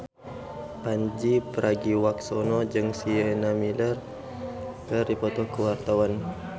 Pandji Pragiwaksono jeung Sienna Miller keur dipoto ku wartawan